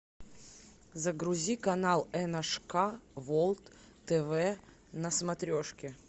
загрузи канал эн аш ка волд тв на смотрешке